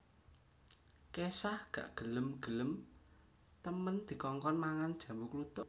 Kesha gak gelem gelem temen dikongkon mangan jambu kluthuk